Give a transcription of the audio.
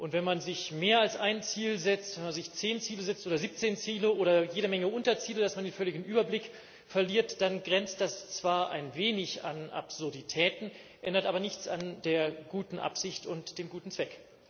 Und wenn man sich mehr als ein Ziel setzt, wenn man sich zehn oder siebzehn Ziele setzt oder jede Menge Unterziele, so dass man völlig den Überblick verliert, dann grenzt das zwar ein wenig an Absurdität, ändert aber nichts an der guten Absicht und dem guten Zweck.